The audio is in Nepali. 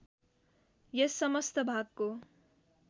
यस समस्त भागको